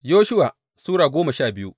Yoshuwa Sura goma sha biyu